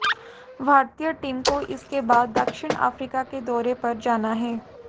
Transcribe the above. भारतीय टीम को इसके बाद दक्षिण अफ्रीका के दौरे पर जाना है